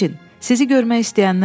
Feccin, sizi görmək istəyənlər var.